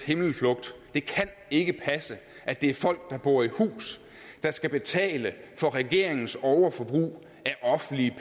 himmelflugt det kan ikke passe at det er folk der bor i hus der skal betale for regeringens overforbrug af offentlige